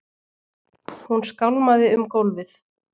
Hún skálmaði um gólfið.